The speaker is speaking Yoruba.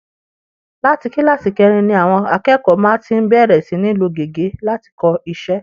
Láti kíláàsì kẹrin ni àwọn akẹ́kọ̀ọ́ má ti ń bẹ̀rẹ̀ sí ní lo gègé láti kọ iṣẹ́